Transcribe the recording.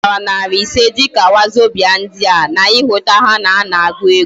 Ahutara naira iri ise dika wazobia ndi a, na ihuta ha na ana agu ego